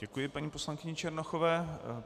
Děkuji paní poslankyni Černochové.